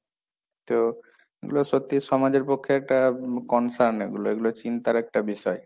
তো এগুলো সত্যি সমাজের পক্ষে একটা concern এগুলো, এগুলো চিন্তার একটা বিষয়।